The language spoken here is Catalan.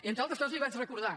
entre altres coses li vaig recordar